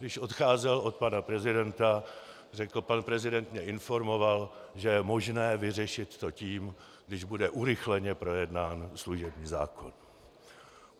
Když odcházel od pana prezidenta, řekl: Pan prezident mě informoval, že je možné vyřešit to tím, když bude urychleně projednán služební zákon.